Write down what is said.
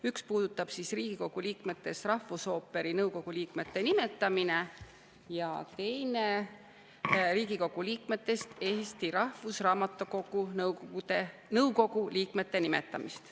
Üks puudutab Riigikogu liikmetest rahvusooperi nõukogu liikmete nimetamist ja teine Riigikogu liikmetest Eesti Rahvusraamatukogu nõukogu liikmete nimetamist.